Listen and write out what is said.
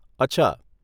અચ્છા.